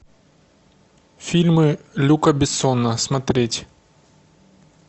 фильмы люка бессона смотреть